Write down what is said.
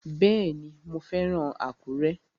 Bẹ́ẹ̀ni, mo fẹ́ràn Àkúrẹ́